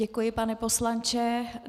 Děkuji, pane poslanče.